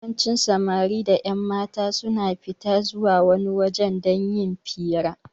Yawancin Samari da ƴanmata suna fita a zuwa wani waje don yin fira